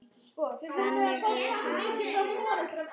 Þannig höfum við það alltaf.